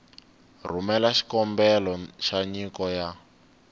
rhumela xikombelo xa nyiko ya